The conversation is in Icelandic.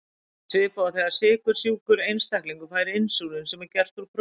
Þetta er svipað og þegar sykursjúkur einstaklingur fær insúlín sem er gert úr prótíni.